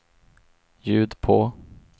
ljud på